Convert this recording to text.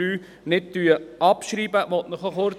Ich möchte Ihnen kurz erklären warum.